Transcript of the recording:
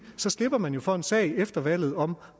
så slipper man jo for en sag efter valget om